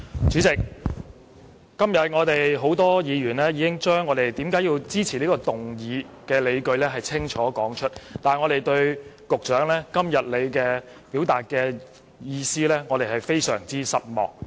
主席，今天多位議員已清楚說出他們支持這項議案的理據，我們對局長今天表達的意見感到非常失望。